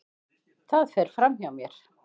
Það fer fram hjá mér.